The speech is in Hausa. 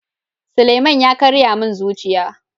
Suleman ya karya min zuciya.